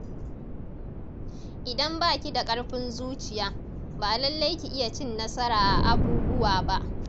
Idan ba ki da ƙarfin zuciya, ba lallai ki iya cin nasara a abubuwa ba